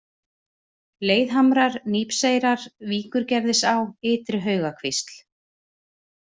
Leiðhamrar, Nípseyrar, Víkurgerðisá, Ytri-Haugakvísl